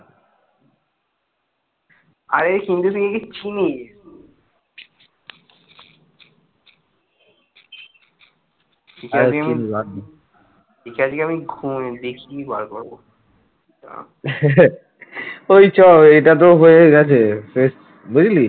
ওই চ এটা তো হয়েই গেছে শেষ বুঝলি?